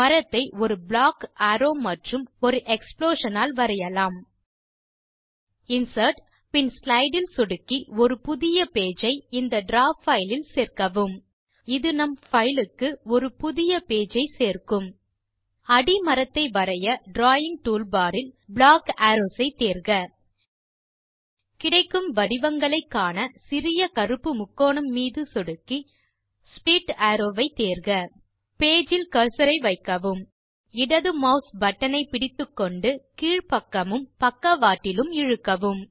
மரத்தை ஒரு block arrow மற்றும் ஒரு எக்ஸ்ப்ளோஷன் ஆல் வரையலாம் இன்சர்ட் பின் ஸ்லைடு இல் சொடுக்கி ஒரு புதிய பேஜ் ஐ இந்த டிராவ் பைல் இல் சேர்க்கவும் இது நம் பைலுக்கு ஒரு புதிய பேஜ் ஐ சேர்க்கும் அடி மரத்தை வரைய டிராவிங் டூல்பார் இல்Block அரோவ்ஸ் ஐ தேர்க கிடைக்கும் வடிவங்களைக் காண சிறிய கருப்பு முக்கோணம் மீது சொடுக்கி ஸ்ப்ளிட் அரோவ் வை தேர்க பேஜ் இல் கர்சர் ஐ வைக்கவும் இடது மாஸ் பட்டன் ஐ பிடித்துக்கொண்டு கீழ்பக்கமும் பக்கவாட்டிலும் இழுக்கவும்